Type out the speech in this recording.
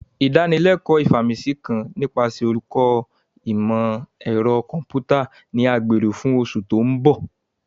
Idanileko Ifaminsi kan nipasẹ Oluko Imọ-ẹrọ Kọmputa ni a gbero fun oṣu to nbo.